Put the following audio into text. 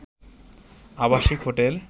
আবাসিক হোটেল